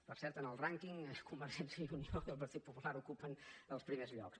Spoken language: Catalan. per cert en el rànquing convergència i unió i el partit popular ocupen els primers llocs